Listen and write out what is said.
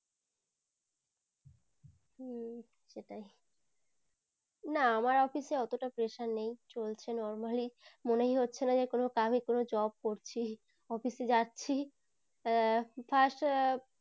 না আমার office এ অটো তা pressure নেই চলছে normally মনেই হচ্ছে না যে কি আমি কোনো job করছি office এ যাচ্ছি উহ